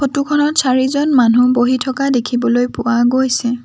Photo খনত চাৰিজন মানুহ বহি থকা দেখিবলৈ পোৱা গৈছে।